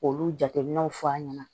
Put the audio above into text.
K'olu jateminɛw fɔ an ɲɛna